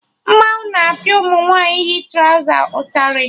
Mmanwụ na-apịa ụmụ nwaanyị yi trọza ụtarị